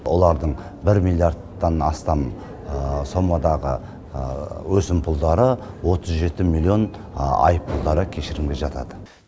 олардың бір миллиардтан астам сомадағы өсімпұлдары отыз жеті миллион айыппұлдары кешірілімге жатады